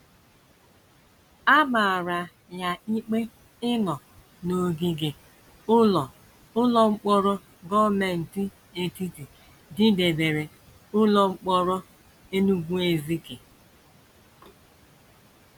A mara ya ikpe ịnọ n’ogige ụlọ ụlọ mkpọrọ gọọmenti etiti dịdebere ụlọ mkpọrọ Enugu-Ezike.